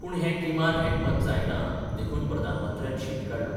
पूण हें किमान एकमत जायना देखून प्रधानमंत्र्यान शीण काडलो.